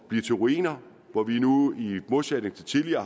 blive til ruiner hvor vi nu i modsætning til tidligere